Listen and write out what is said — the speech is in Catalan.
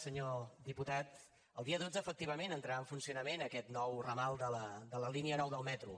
senyor diputat el dia dotze efectivament entrarà en funcionament aquest nou ramal de la línia nou del metro